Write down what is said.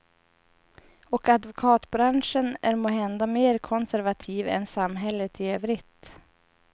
Och advokatbranschen är måhända mer konservativ än samhället i övrigt.